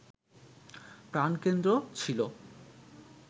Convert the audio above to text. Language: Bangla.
প্রাণকেন্দ্র ছিল